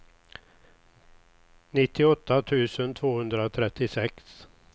nittioåtta tusen tvåhundratrettiosex